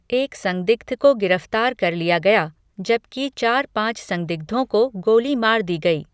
एक संदिग्ध को गिरफ्तार कर लिया गया, जबकि चार पाँच संदिग्धों को गोली मार दी गई।